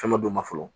Fɛn dɔ don ma fɔlɔ